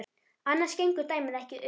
Annars gengur dæmið ekki upp.